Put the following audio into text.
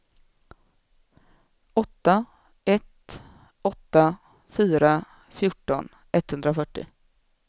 åtta ett åtta fyra fjorton etthundrafyrtio